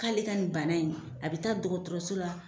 K'ale ka nin bana in a bɛ taa dɔgɔtɔrɔso la.